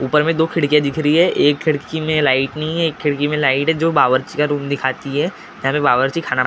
ऊपर में दो खिड़कियाँ दिख रही है एक खिड़की में लाइट नहीं है एक खिड़की में लाइट है जो बाबर्ची का रूम दिखाती है यहाँ पे बाबर्छी खाना बना।